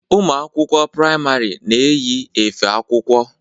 Ụmụ akwụkwọ priamarị na-eyi efe akwụkwọ.